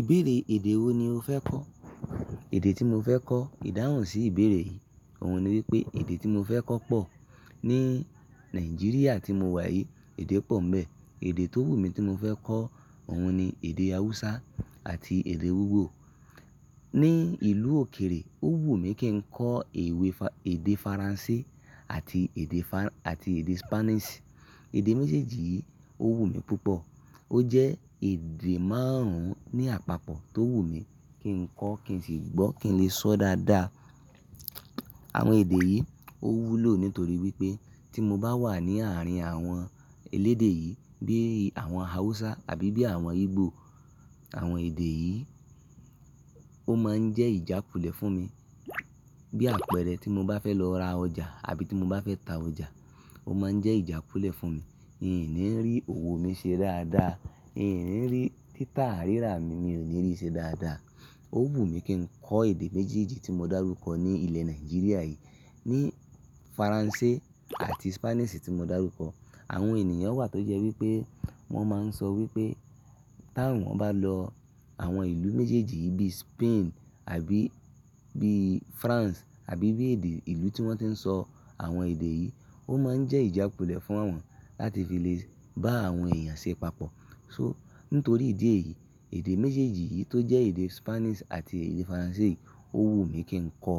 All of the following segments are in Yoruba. Ìbéèrè èdè wo ni o fẹ́ kọ́? Ẹ̀dẹ́ tí mo fẹ́ kọ́ ìdáhùn sí ìbéèrè yìí, òun ni wípé èdè tí mo fẹ́ kọ́ pọ̀ ní Nàìjíríà tí mo wà yìí, èdè pọ̀ ń bẹ. Èdè tó wù mí tí mo fẹ́ kọ́, òun ni èdè Hausa àti èdè Igbo. Ni ìlú òkèèrè, ó wù mí kí n kọ èdè Faransé àti èdè, àti èdè Spanish. Èdè méjèèjì yìí ó wù mí púpọ̀. Ó jẹ́ èdè márùn-ún ní àpapọ̀ tó wù mí kí n kọ́ kí n sì gbọ́, kí n lè sọ dáadáa. Àwọn èdè yìí ó wúlò nítorí wípé tí mo bá wà ní àárín àwọn elédè yìí bí àwọn Hausa àbí bí àwọn Igbo, àwọn èdè yìí ó máa ń jẹ́ ìjà pulẹ̀ fún mi. Bí àpẹẹrẹ tí mo bá fẹ́ lọ ra ọjà àbí tí mo bá fẹ́ ta ọjà, ó máa ń jẹ́ ìjà pulẹ̀ fún mi. N ò ní rí òwò mí ṣe dáadáa. N ò ní rí títà rírà mi, mi ò ní rí i ṣe dáadáa. Ó wù mí kí n kọ èdè méjèèjì tí mo dárúkọ ní ilẹ̀ Nàìjíríà yìí. Ni Faransé àti Spanish tí mo dárúkọ. Àwọn ènìyàn wà tó jẹ́ wípé wón máa ń sọ wípé tí àwọn bá lọ àwọn ìlú méjèèjì bí Spain àbí bí France àbí bí èdè ìlú tí wón ti ń sọ àwọn èdè yìí, ó máa ń jẹ́ ìjà pulẹ̀ fún wọn láti fi lè bá àwọn èèyàn ṣe ìpàpọ̀. So, nítorí ìdí èyí, èdè méjèèjì yìí tó jẹ́ èdè Spanish àti èdè Faransé yìí ó wù mí kí n kọ.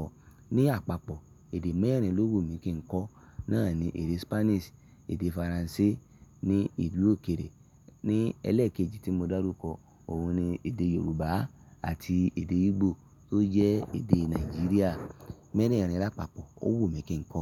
Ni àpapọ̀ èdè mẹ́rin ló wù mí kí n kọ́. Náà ni èdè Spanish, èdè Faransé ní ìlú òkèèrè. Ni ẹlẹ́ẹ̀kejì tí mo dárúkọ, òun ni èdè Yorùbá àti èdè Igbo tó jẹ́ èdè Nàìjíríà mẹ́rin láa papọ̀ ó wùn mí kí n kọ.